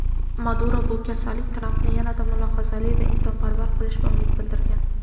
Maduro bu kasallik Trampni yanada mulohazali va insonparvar qilishiga umid bildirgan.